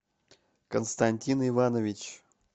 константин иванович